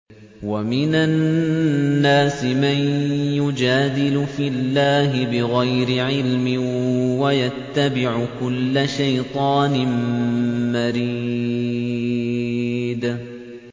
وَمِنَ النَّاسِ مَن يُجَادِلُ فِي اللَّهِ بِغَيْرِ عِلْمٍ وَيَتَّبِعُ كُلَّ شَيْطَانٍ مَّرِيدٍ